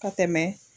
Ka tɛmɛ